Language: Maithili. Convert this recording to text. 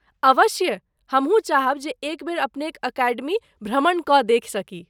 अवश्य ,हमहूँ चाहब जे एक बेर अपनेक अकेडमी भ्रमण कऽ देखि सकी।